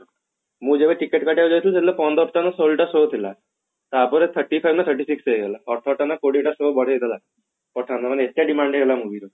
ମୁଁ ଯେବେ ticket କାଟିବାକୁ ଯାଇଥିଲି ସେଦିନ ପନ୍ଦର ଟା ନା ଷୋହଳ ଟା show ଥିଲା ତାପରେ thirty ତା ନା thirty six ହେଇଗଲା ଅଠର ଟା ନା କୋଡିଏ ଟା show ବଢେଇଦେଲା pathan ମାନେ ଏତେ demand ହେଇଗଲା movie ର